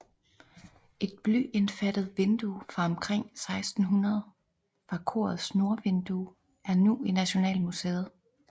Et blyindfattet vindue fra omkring 1600 fra korets nordvindue er nu i Nationalmuseet